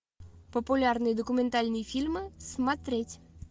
популярные документальные фильмы смотреть